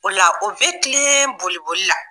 O la o bɛ tilen boli-boli la